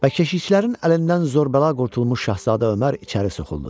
Və keşiyçilərin əlindən zor-bəla qurtulmuş şahzadə Ömər içəri soxuldu.